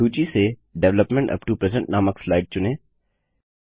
सूची से development up to present नामक स्लाइड चुनें